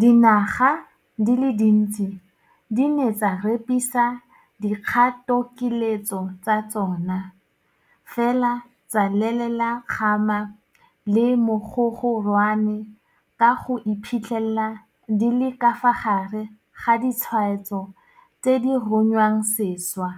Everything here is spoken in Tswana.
Dinaga di le dintsi di ne tsa repisa dikgatokiletso tsa tsona, fela tsa lelela kgama le mogogorwane ka go iphitlhela di le ka fa gare ga ditshwaetso tse di runyang sešwa,